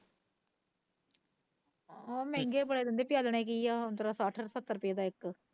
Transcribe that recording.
ਉਹ ਮਹਿੰਗੇ ਬੜੇ ਦਿੰਦੇ ਪਿਆਲਣੇ ਕੀ ਆ ਔਂਤਰਾ ਸੱਠ ਸੱਤਰ ਰੁਪਏ ਦਾ ਇੱਕ